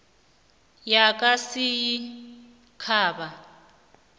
yakasinyikhaba